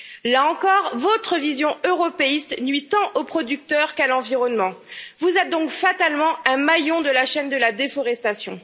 Là encore, votre vision européiste nuit tant aux producteurs qu'à l'environnement, vous êtes donc fatalement un maillon de la chaîne de la déforestation.